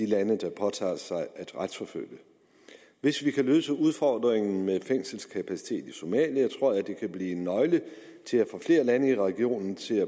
lande der påtager sig at retsforfølge hvis vi kan løse udfordringen med fængselskapacitet i somalia tror jeg det kan blive en nøgle til at få flere lande i regionen til